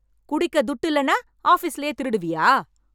குடிக்க துட்டு இல்லென்னா ஆஃபிஸ்லயே திருடுவியா?